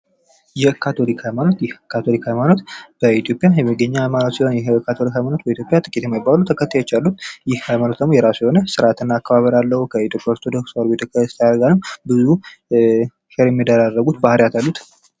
የካቶሊክ ሃይማኖት ፦ ይህ የካቶሊክ ሃይማኖት በኢትዮጵያ የሚገኝ ሃይማኖት ሲሆን የካቶሊክ ሃይማኖት በኢትዮጲያ ጥቂት የማይባሉ ተከታዮች አሉት ። ይህ ሃይማኖት የራሱ የሆነ ስርአትና አከባበር አለው ። ከኢትዮጵያ ኦርቶዶክስ ተዋህዶ ጋር ብዙ ሼር የሚደራረጉት ባህሪያት አሉት ።